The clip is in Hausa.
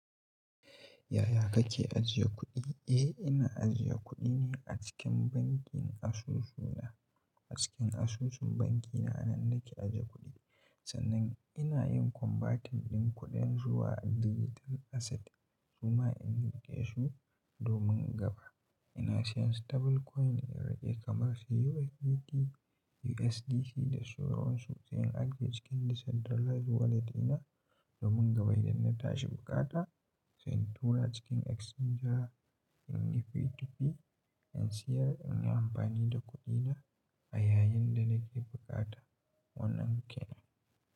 Yaya kake ajiye kuɗi? Eh, ina ajiye kuɗi ne a cikin bankin asusu na. A cikin asusun banki na nan nake aje kuɗi. Sannan ina yin converting ɗin kuɗin zuwa digital asset kuma in gina shi domin gaba. Ina siyan stable coin irin kamar USDT, USDC da sauransu, sai in ajiye cikin decentralized wallet ɗina domin gaba idan na tashi buƙata, sai in tura cikin exchanger in yi P2P, in siyar in yi amfani da kuɗina a yayin da na ke buƙata. Wannan kenan.